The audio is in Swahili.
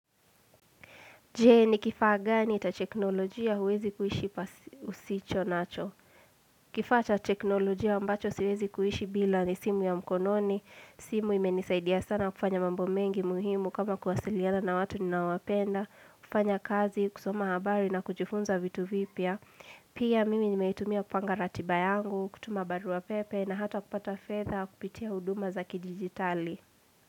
Je, ni kifaa gani cha teknolojia huwezi kuishi usicho nacho? Kifaa cha teknolojia ambacho siwezi kuishi bila ni simu ya mkononi, simu imenisaidia sana kufanya mambo mengi muhimu kama kuwasiliana na watu ninoawapenda, kufanya kazi, kusoma habari na kujifunza vitu vipya. Pia mimi nimeitumia kupanga ratiba yangu, kutuma barua pepe na hata kupata fedha kupitia huduma za kidijitali.